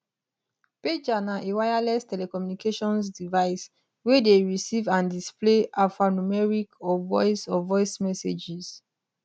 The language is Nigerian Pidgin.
pager na a wireless telecommunications device wey dey receive and displays alphanumeric or voice or voice messages